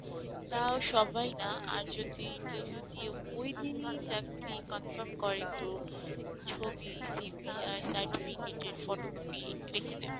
তাও সবাই না আর যদি interview দিয়ে ওইদিনই চাকরি confirm করে তো ছবি, CV আর Certificate এর photography রেখে দেবে।